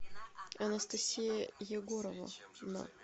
анастасия егоровна